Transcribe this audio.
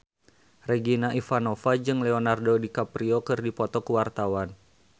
Regina Ivanova jeung Leonardo DiCaprio keur dipoto ku wartawan